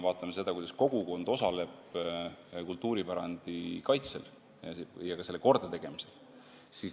Vaatame seda, kuidas kogukond osaleb kultuuripärandi kaitsel ja selle kordategemisel.